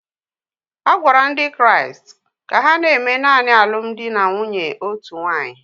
A gwara ndị Kraịst ka ha na-eme naanị alụmdi na nwunye otu nwaanyị